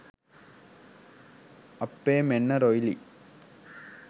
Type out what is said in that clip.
අප්පේ මෙන්න රොයිලි